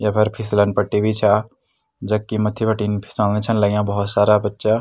येफर फिसलन पट्टी भी छा जख किन मथ्थी बीटिन फिसलना छन लग्याँ भोत सारा बच्चा।